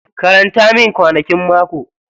Karanta min kwanakin mako.